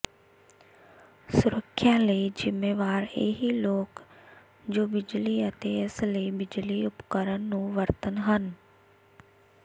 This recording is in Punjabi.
ਸੁਰੱਖਿਆ ਲਈ ਜ਼ਿੰਮੇਵਾਰ ਇਹੀ ਲੋਕ ਜੋ ਬਿਜਲੀ ਅਤੇ ਇਸ ਲਈ ਬਿਜਲੀ ਉਪਕਰਣ ਨੂੰ ਵਰਤਣ ਹਨ